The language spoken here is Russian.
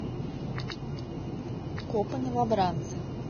копы новобранцы